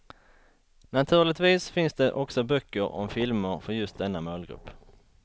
Naturligtvis finns det också böcker om filmer för just denna målgrupp.